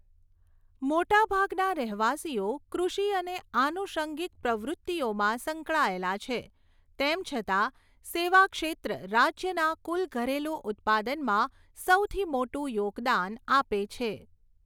મોટાભાગના રહેવાસીઓ કૃષિ અને આનુષંગિક પ્રવૃત્તિઓમાં સંકળાયેલા છે, તેમ છતાં સેવા ક્ષેત્ર રાજ્યના કુલ ઘરેલું ઉત્પાદનમાં સૌથી મોટું યોગદાન આપે છે.